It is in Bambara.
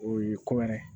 O ye ko wɛrɛ ye